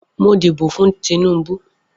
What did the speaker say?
Mo díbò fún Tinubu.